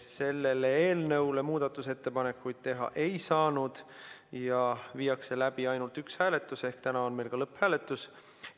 Selle eelnõu kohta muudatusettepanekuid teha ei saanud ja viiakse läbi ainult üks hääletus, seega on täna meil ka lõpphääletus.